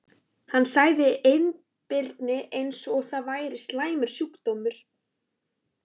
Hann sagði einbirni eins og það væri slæmur sjúkdómur.